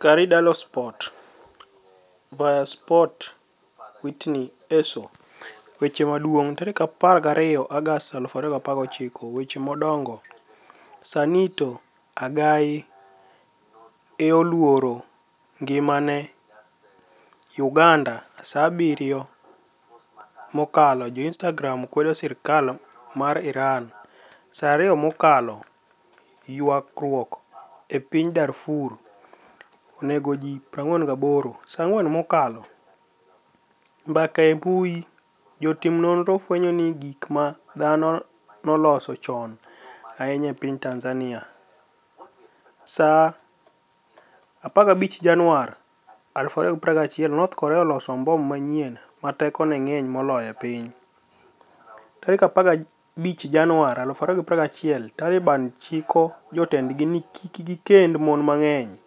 (Corriere Dello Sport, Via Sport Witni ess0 Weche maduonig .12 Agost 2019 Weche madonigo Saanito Agai e 'oluoro nigimani e' . Uganida Saa 7 mokalo Jo-Inistagram kwedo sirkal mar Irani. Saa 2 mokalo Ywaruok e piniy Darfur oni ego ji 48Saa 4 mokalo . Mbaka e mbui Jotim noniro fweniyo gik ma dhano noloso choni ahiniya e piniy Tanizaniia. Saa 15 Janiuar 2021 north Korea oloso mbom maniyieni 'ma tekoni e nig'eniy moloyo e piniy . 15 Janiuar 2021 Talibani chiko jotenidgi nii kik gikenid moni manig'eniy.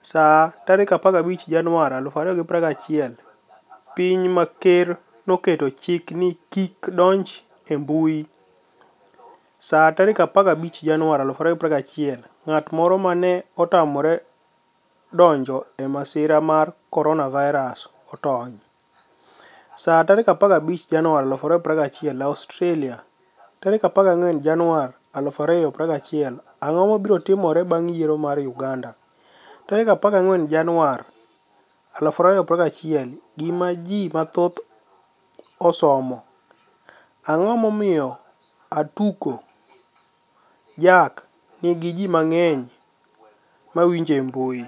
Saa 15 Janiuar 2021 Piniy ma ker noketo chik nii ji kik donij e mbui . Saa 15 Janiuar 2021 nig'at moro ma ni e otamore donij e masira mar koroniavirus otoniy . Saa 15 Janiuar 2021 Australia 14 Janiuar 2021 Anig'o mabiro timore banig' yiero mar Uganida? 14 Janiuar 2021 Gima Ji mathoth Osesomo . Anig'o momiyo Atudo jack niigi ji manig'eniy ma winije e e mbui?